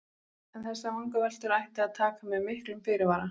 En þessar vangaveltur ætti að taka með miklum fyrirvara.